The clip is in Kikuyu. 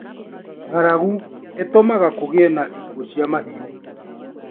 ng'aragu ĩtũmaga kũgĩe na ikuũ cia mahiũ